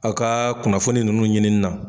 Aw ka kunnafoni ninnu ɲinini na.